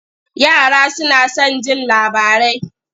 Yara suna son jin labarai.